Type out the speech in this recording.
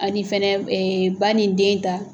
Ani fɛnɛ ba ni den ta